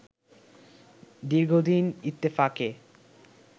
দীর্ঘদিন ইত্তেফাকে